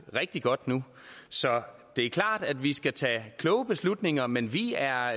rigtig godt nu så det er klart at vi skal tage kloge beslutninger men vi er